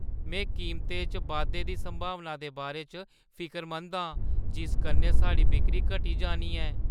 में कीमतें च बाद्धे दी संभावना दे बारे च फिकरमंद आं जिस कन्नै साढ़ी बिक्करी घटी जानी ऐ।